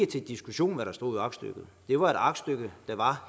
til diskussion hvad der stod i aktstykket det var et aktstykke der var